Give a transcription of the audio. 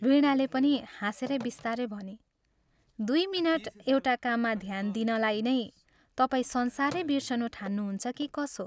वीणाले पनि हाँसेर बिस्तारै भनी, " दुइ मिनट एउटा काममा ध्यान दिनलाई नै तपाईं संसारै बिर्सनु ठान्नुहुन्छ कि कसो?